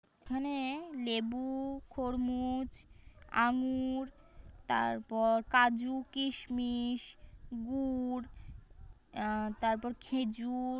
এখানে লেবু খরমুজ আঙ্গুর তারপর কাজু কিশমিশ গুঁড় আ--তারপর খেজুর--